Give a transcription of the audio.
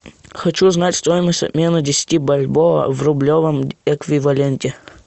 хочу узнать стоимость обмена десяти бальбоа в рублевом эквиваленте